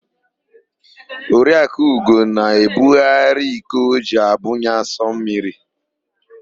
Oriakụ Ugo na-ebugharị iko o ji abunye asụmmiri.